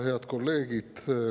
Head kolleegid!